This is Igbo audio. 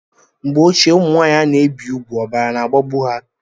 Mgbe ochie ụmụnwanyị ana ebi ùgwù ọbara na agbagbu ha